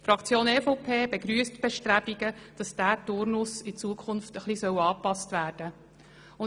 Die Fraktion EVP begrüsst die Bestrebungen, wonach dieser Turnus in Zukunft etwas angepasst werden soll.